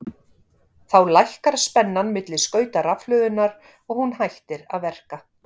þá lækkar spennan milli skauta rafhlöðunnar og hún hættir að verka